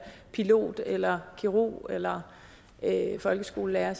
pilot eller kirurg eller folkeskolelærer